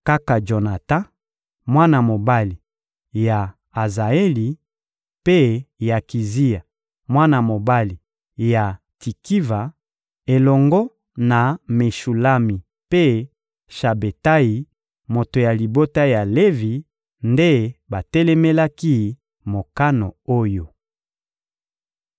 Kaka Jonatan, mwana mobali ya Azaeli, mpe Yakizia, mwana mobali ya Tikiva, elongo na Meshulami mpe Shabetayi, moto ya libota ya Levi, nde batelemelaki mokano oyo.